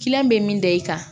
bɛ min da i kan